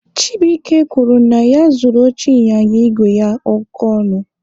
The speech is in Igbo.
Chibuike kwuru na ya zụrụ oche ịnyịnya igwe ya oke ọnụ.